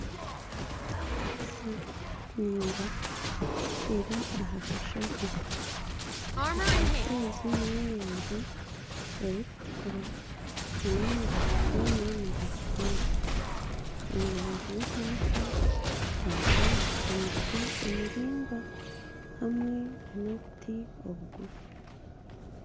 Ekanisa ningwa eri ah'akashozi , ekanisa egi ney'erangi erikutukura nana amabati gaayo nigatukura. Omu rubaju rw'ekanisa hariho emiti emiraingwa hamwe nana obuti obugufu.